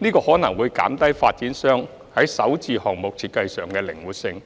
這可能會減低發展商在首置項目設計上的靈活性，